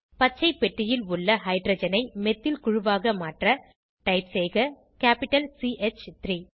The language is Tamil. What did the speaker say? பச்சை பெட்டியில் உள்ள ஹைட்ரஜனை மெத்தில் குழுவாக மாற்ற டைப் செய்க கேப்பிட்டல் சி ஹ் 3